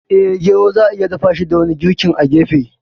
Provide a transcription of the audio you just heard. Eh, gero za'a iya dafashi da wani girkin a gefe.